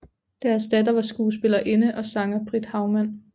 Deres datter var skuespillerinde og sanger Britt Hagman